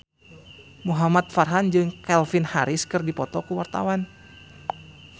Muhamad Farhan jeung Calvin Harris keur dipoto ku wartawan